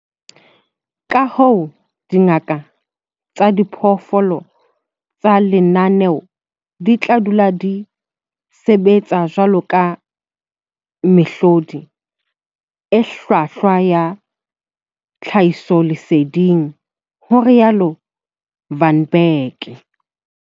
"Kahoo, dingaka tsa diphoofolo tsa lenaneo di tla dula di sebetsa jwaloka mehlodi e hlwahlwa ya tlhahisoleseding," ho rialo Van Blerk.